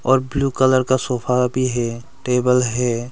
और blue colour का sofa भी है टेबल है।